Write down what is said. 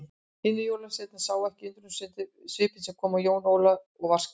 Hinir jólasveinarnir sáu undrunarsvipinn sem kom á Jón Ólaf og var skemmt.